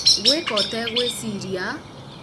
gwĩka ũtegwĩciria